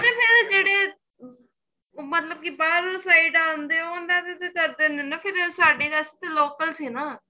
ਉੱਧਰ ਫੇਰ ਜਿਹੜੇ ਮਤਲਬ ਕੀ ਬਾਹਰੋ side ਆਂਦੇ ਹੋਣ ਉਹਨਾ ਦਾ ਤਾਂ ਕਰਦੇ ਨੇ ਫੇਰ ਸਾਡੀ ਵਾਸਤੇ ਤਾਂ local ਸੀ ਨਾ